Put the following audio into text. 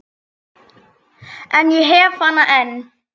En ég hef hana enn.